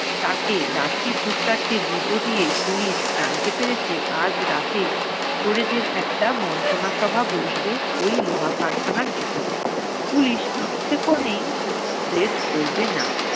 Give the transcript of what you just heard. তাকে লাঠির দু-চারটে গুতো দিয়ে police জানতে পেরেছে আজ রাতে চোরেদের একটা মন্ত্রণা সভা বসবে ওই লোহা কারখানার ভেতরে। police ইচ্ছা করেই উম raid করবে না।